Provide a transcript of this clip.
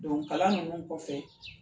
kalan nunnu kɔfɛ